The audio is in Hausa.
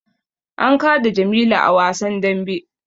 An kada jamilu a wasan dambe